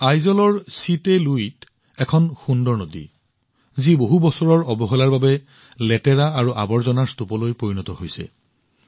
আইজলত চিত্তে লুই নামৰ এখন সুন্দৰ নদী আছে যি বহু বছৰৰ অৱহেলাৰ বাবে লেতেৰা আৰু আৱৰ্জনাৰ স্তূপলৈ পৰিণত হৈছিল